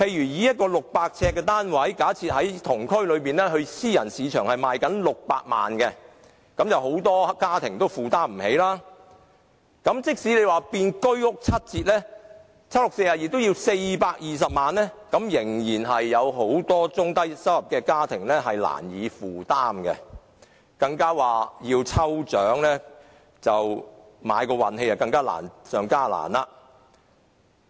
以一個600呎單位為例，同區私人市場的樓宇單位賣600萬元，很多家庭均無法負擔，即使居屋以七折價發售，也要420萬元，很多中低收入家庭仍然難以負擔，而要抽籤碰運氣，更是難上加難。